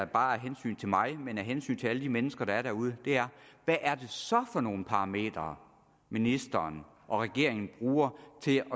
bare af hensyn til mig men af hensyn til alle de mennesker der er derude er hvad er det så for nogle parametre ministeren og regeringen bruger til at